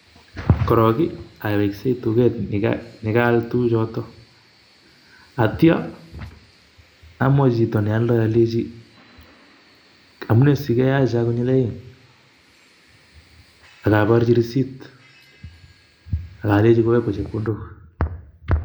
korok i aweksei tuket nekal tukuchoto, atyo amwaji chito nealdo aleji amunee sikeyajaa konyilaeng? ak aborji receipt. Ak aleji koyakwo chepkondok.